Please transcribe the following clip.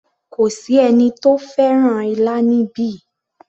Kò sí ẹni tó fẹ́ràn ilá níbí